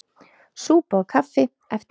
Súpa og kaffi eftir messu.